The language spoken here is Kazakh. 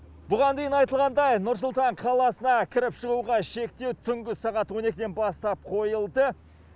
бұған дейін айтылғандай нұр сұлтан қаласына кіріп шығуға шектеу түнгі сағат он екіден бастап қойылды